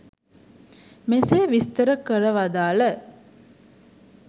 මෙසේ විස්තර කර වදාළ